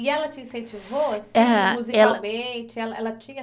E ela te incentivou, assim, musicalmente, ela ela tinha